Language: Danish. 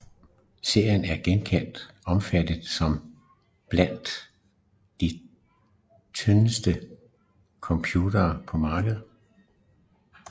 Serien er generelt opfattet som blandt de tyndeste computere på markedet